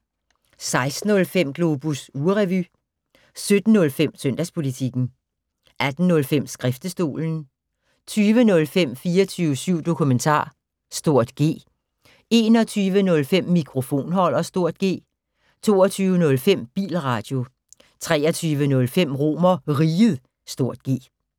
16:05: Globus ugerevy 17:05: Søndagspolitikken 18:05: Skriftestolen 20:05: 24syv Dokumentar (G) 21:05: Mikrofonholder (G) 22:05: Bilradio 23:05: RomerRiget (G)